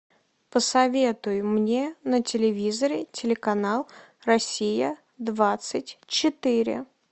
посоветуй мне на телевизоре телеканал россия двадцать четыре